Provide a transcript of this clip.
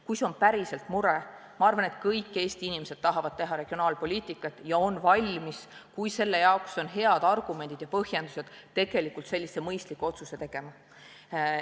Kui see on päriselt mure, siis ma arvan, et kõik Eesti inimesed tahavad teha regionaalpoliitikat ja nad on valmis, kui olemas on head argumendid ja põhjendused, mõistliku otsuse tegema.